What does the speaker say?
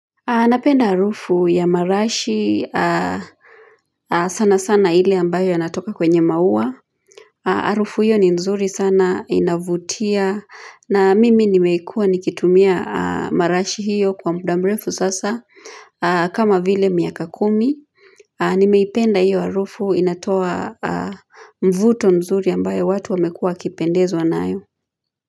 Anapenda harufu ya marashi sana sana ile ambayo inatoka kwenye maua Harufu hiyo ni nzuri sana inavutia na mimi nimekuwa nikitumia marashi hiyo kwa muda mrefu sasa kama vile miaka kumi Nimeipenda hiyo harufu inatoa mvuto mzuri ambayo watu wamekuwa wakipendezwa nayo.